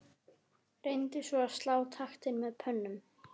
Reyndi svona að slá taktinn með plötum.